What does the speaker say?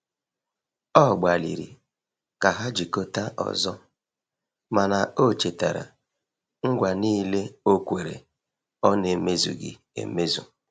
Ọ gbaliri ka ha jikota ọzọ, mana o chetara ngwa nile okwere ọ na eme zughi emezụ